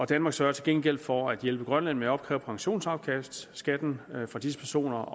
danmark sørger til gengæld for at hjælpe grønland med at opkræve pensionsafkastskatten for disse personer